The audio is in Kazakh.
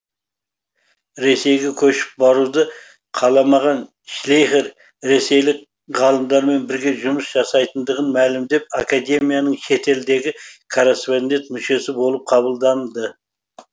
ресейге көшіп баруды қаламаған шлейхер ресейлік ғалымдармен біріге жұмыс жасайтындығын мәлімдеп академияның шетелдегі корреспондент мүшесі болып қабылданды